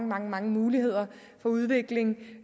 mange mange muligheder for udvikling